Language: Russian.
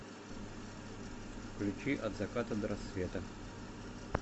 включи от заката до рассвета